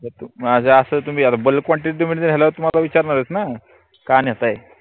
माझं आसल तर मी urban quantity मध्ये घेण्याचा माझा विचार नाई होत ना अस ए